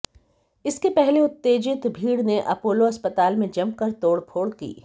इसके पहले उत्तेजित भीड़ ने अपोलो अस्पताल में जमकर तोड़फोड़ की